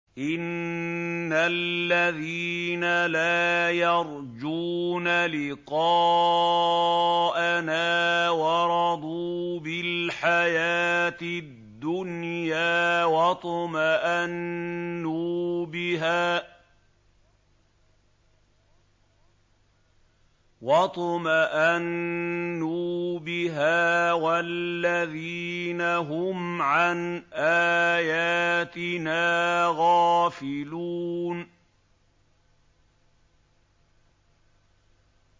إِنَّ الَّذِينَ لَا يَرْجُونَ لِقَاءَنَا وَرَضُوا بِالْحَيَاةِ الدُّنْيَا وَاطْمَأَنُّوا بِهَا وَالَّذِينَ هُمْ عَنْ آيَاتِنَا غَافِلُونَ